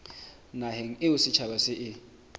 naheng eo setjhaba se e